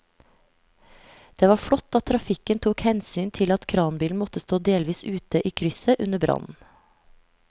Det var flott at trafikken tok hensyn til at kranbilen måtte stå delvis ute i krysset under brannen.